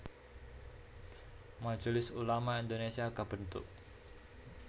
Majelis Ulama Indonésia kabentuk